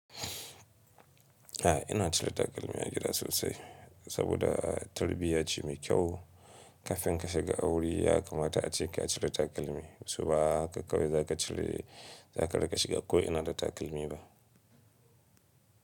A'a ina cire takalmi a gida sosai saboda tarbiyya ce mai kyau. Kafin ka shiga aure ya kamata a ce ka cire takalmi. Su ba haka kawai za ka cire, za ka riƙa shiga ko ina da takalmi ba.